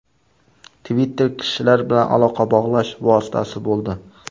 Twitter kishilar bilan aloqa bog‘lash vositasi bo‘ldi.